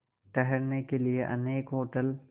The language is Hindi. ठहरने के लिए अनेक होटल